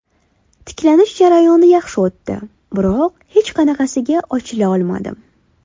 Tiklanish jarayoni yaxshi o‘tdi, biroq hech qanaqasiga ochila olmadim.